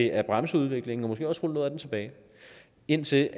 at bremse udviklingen og måske også rulle noget af den tilbage indtil